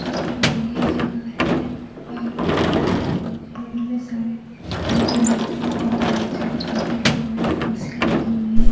इतनी बढ़िया जगह है इतना प्यारा में सारे पौधे लगे हुए हैं हर जगह पौधे लगे हुए हैं कुर्सियां लगी हुई है।